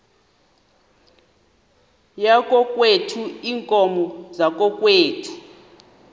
yakokwethu iinkomo zakokwethu